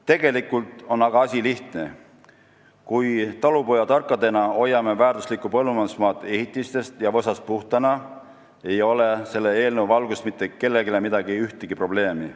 Tegelikult on aga asi lihtne: kui talupojatarkadena hoiame väärtuslikku põllumajandusmaad ehitistest ja võsast puhtana, ei ole selle eelnõu valguses mitte kellelgi ühtegi probleemi.